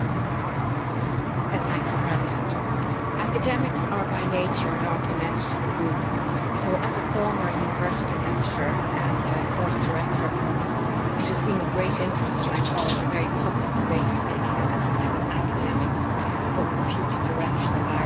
Madam President, academics are, by nature, an argumentative group, so as a former university lecturer and course director, it has been with great interest that I followed a very public debate in Ireland between academics over the future direction of Irish universities.